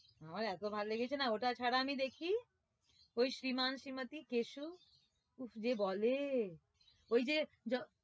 আমার এতো ভালো লেগেছে না ওটা ছাড়া আমি দেখি ওই শ্রীমান শ্রীমতি কেশু উফ যে বলে ওই যে